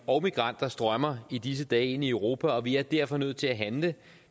og migranter strømmer i disse dage ind i europa og vi er derfor nødt til at handle